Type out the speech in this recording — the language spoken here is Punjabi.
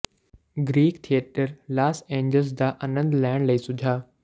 ਗ੍ਰੀਕ ਥੀਏਟਰ ਲਾਸ ਏਂਜਲਸ ਦਾ ਅਨੰਦ ਲੈਣ ਲਈ ਸੁਝਾਅ